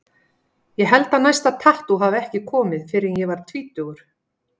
Ég held að næsta tattú hafi ekki komið fyrr en ég var tvítugur.